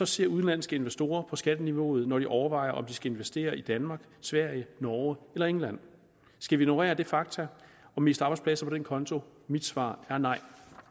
ser udenlandske investorer på skatteniveauet når de overvejer om de skal investere i danmark sverige norge eller england skal vi ignorere det faktum og miste arbejdspladser på den konto mit svar er nej